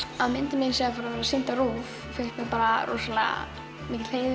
að myndin mín sé að fara að vera sýnd á RÚV finnst mér rosalega mikill heiður